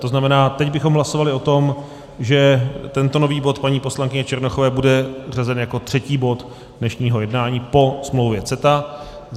To znamená, teď bychom hlasovali o tom, že tento nový bod paní poslankyně Černochové bude řazen jako třetí bod dnešního jednání po smlouvě CETA.